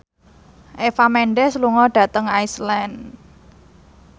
Eva Mendes lunga dhateng Iceland